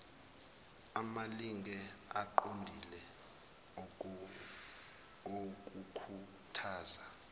amalinge aqondile okukhuthaza